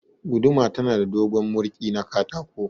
Guduma tana da dogon mirƙi na katako.